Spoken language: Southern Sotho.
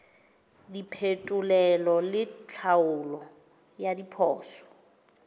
diphetolelo le tlhaolo ya diphoso